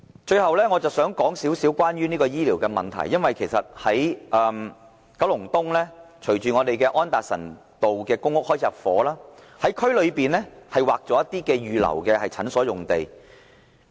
最後，我想稍為談談醫療的問題，因為隨着九龍東安達臣道的公屋入伙，當局在區內已劃出一些土地預留作診所用地。